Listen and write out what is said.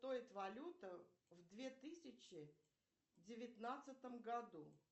стоит валюта в две тысячи девятнадцатом году